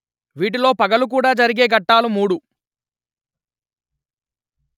వీటిలో పగలు కూడ జరిగే ఘట్టాలు మూడు